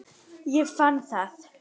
Ég fann það.